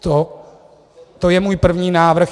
To je můj první návrh.